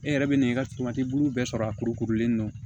E yɛrɛ bɛ na i ka suman bulu bɛɛ sɔrɔ a kuru kurulen don